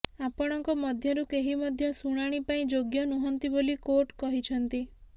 ଆପଣଙ୍କ ମଧ୍ୟରୁ କେହି ମଧ୍ୟ ଶୁଣାଣି ପାଇଁ ଯୋଗ୍ୟ ନୁହଁନ୍ତି ବୋଲି କୋର୍ଟ କହିଛନ୍ତି